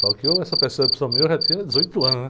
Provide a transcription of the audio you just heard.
Só que eu, essa percepção minha, eu já tinha dezoito anos, né?